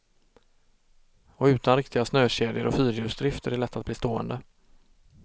Och utan riktiga snökedjor och fyrhjulsdrift är det lätt att bli stående.